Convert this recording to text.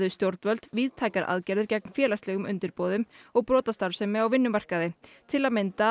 stjórnvöld víðtækar aðgerðir gegn félagslegum undirboðum og brotastarfsemi á vinnumarkaði til að mynda